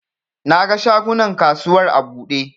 Na ga shagunan kasuwar a buɗe